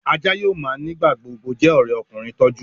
Àjà yóò má nigba-gbogbo jé òré ọkùnrin tó jù.